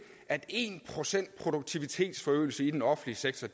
at en procent produktivitetsforøgelse i den offentlige sektor